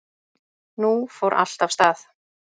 Nú fór allt af stað.